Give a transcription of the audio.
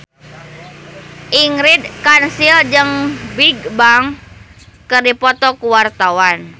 Ingrid Kansil jeung Bigbang keur dipoto ku wartawan